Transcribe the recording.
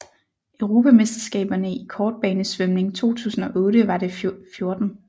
Europamesterskaberne i kortbanesvømning 2008 var det 14